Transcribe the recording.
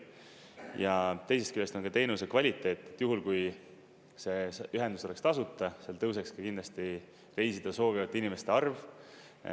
Ja teisest küljest on ka teenuse kvaliteet, et juhul kui see ühendus oleks tasuta, seal tõuseks ka kindlasti reisida soovivate inimeste arv.